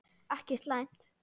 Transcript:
Ekki slæmt.